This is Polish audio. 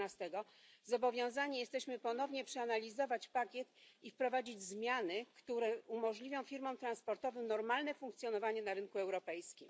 14, zobowiązani jesteśmy ponownie przeanalizować pakiet i wprowadzić zmiany, które umożliwią firmom transportowym normalne funkcjonowanie na rynku europejskim.